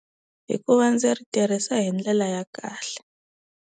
I ku va ndzi ri tirhisa hi ndlela ya kahle.